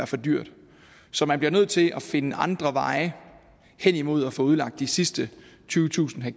for dyrt så man bliver nødt til at finde andre veje hen imod at få udlagt de sidste tyvetusind ha